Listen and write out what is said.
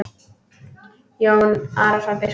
Jón Arason biskup